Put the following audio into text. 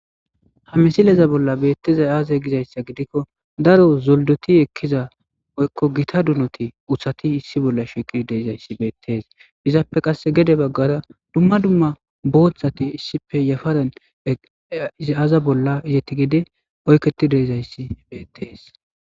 Ha misileza bolla beettezay aaza gizayssa gidikko daro zoldoti ekkiza oykko gita dunoti uhati issi bolla shekidi deezayssi beettees izaappe qasse gede baggara dumma dumma booththati issippe yafaren izi aaza bolla izeti gede oykketi deizayssi beettees.